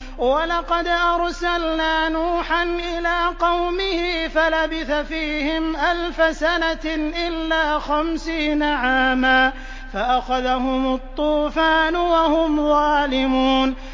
وَلَقَدْ أَرْسَلْنَا نُوحًا إِلَىٰ قَوْمِهِ فَلَبِثَ فِيهِمْ أَلْفَ سَنَةٍ إِلَّا خَمْسِينَ عَامًا فَأَخَذَهُمُ الطُّوفَانُ وَهُمْ ظَالِمُونَ